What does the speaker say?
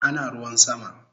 Ana ruwan sama